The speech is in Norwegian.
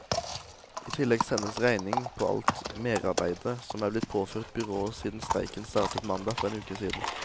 I tillegg sendes regning på alt merarbeidet som er blitt påført byrået siden streiken startet mandag for en uke siden.